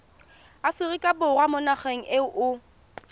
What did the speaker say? aforika borwa mo nageng eo